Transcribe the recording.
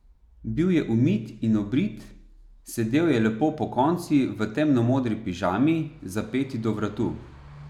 Bil je umit in obrit, sedel je lepo pokonci v temnomodri pižami, zapeti do vratu.